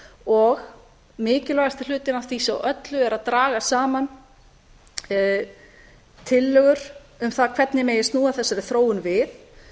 og mikilvægasti hlutinn af því svo öllu er að draga saman tillögur um það hvernig megi snúa þessari þróun við